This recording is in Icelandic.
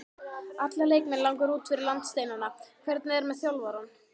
Alla leikmenn langar út fyrir landsteinana, hvernig er með þjálfarann?